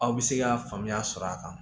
Aw bɛ se ka faamuya sɔrɔ a kan